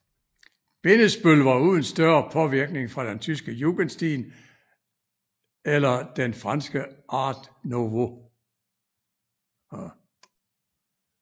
Bindesbøll var uden større påvirkning fra den tyske jugendstil eller den franske art nouveau